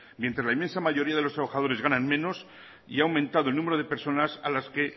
mientras la inmensa mayoría de los trabajadores ganan menos y ha aumentado el número de personas a las que